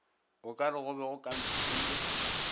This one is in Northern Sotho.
okare go be go kampilwe